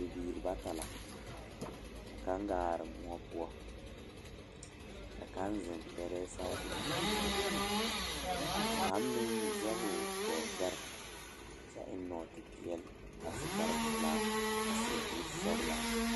Bibiiri bata la ka kaŋ gaa are moɔ poɔ ka kaŋ zeŋ gbɛrɛɛ saakere zu ka meŋ zɛge o gɔɔ gbɛre kyɛ eŋ nɔɔtepeɛle a su kparepelaa a seɛ kurisɔglaa.